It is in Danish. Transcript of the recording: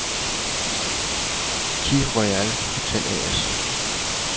CIH Royal Hotel A/S